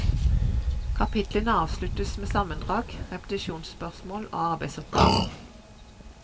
Kapitlene avsluttes med sammendrag, repetisjonsspørsmål og arbeidsoppgaver.